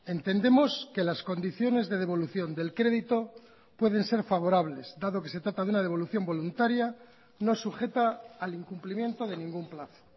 entendemos que las condiciones de devolución del crédito pueden ser favorables dado que se trata de una devolución voluntaria no sujeta al incumplimiento de ningún plazo